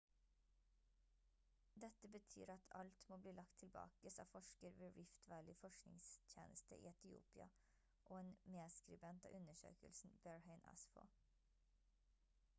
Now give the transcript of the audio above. «dette betyr at alt må bli lagt tilbake» sa forsker ved rift valley forskningstjeneste i etiopia og en medskribent av undersøkelsen berhane asfaw